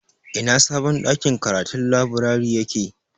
Ina sabon ɗakin karatun/laburari yake?